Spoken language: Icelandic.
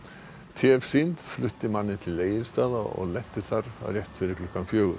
t f flutti manninn til Egilsstaða og lenti þar rétt fyrir klukkan fjögur